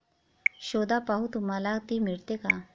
शोधा पाहू तुम्हाला ती मिळते का?